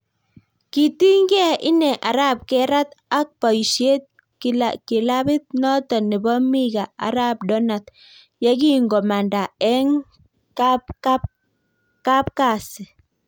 Kitinygei inee arap Gerrat ak baoisiet kilapiit notok neboo Mika arap donat yekingomanda eng kapkalaksi